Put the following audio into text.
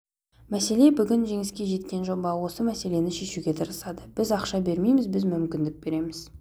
мәселе бүгін жеңіске жеткен жоба осы мәселені шешуге тырысады біз ақша бермейміз біз мүмкіндік береміз